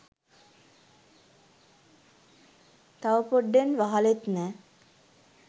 තව පොඩ්ඩෙන් වහලෙත් නෑ